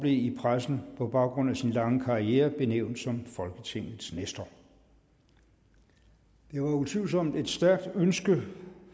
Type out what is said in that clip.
i pressen på baggrund af sin lange karriere benævnt som folketingets nestor det var utvivlsomt et stærkt ønske